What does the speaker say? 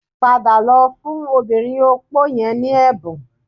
Padà lọ fún obìnrin opó yẹn ní ẹ̀bùn